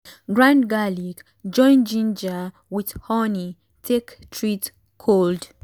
grind garlic join ginger with honey take treat cold.